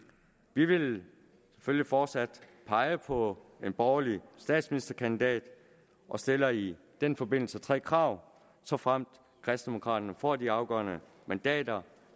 vi vil selvfølgelig fortsat pege på en borgerlig statsministerkandidat og stiller i den forbindelse tre krav såfremt kristendemokraterne får de afgørende mandater